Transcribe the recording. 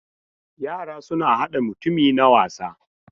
Yara suna hada mutummutumi na wasa.